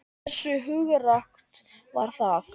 Hversu hugrakkt var það?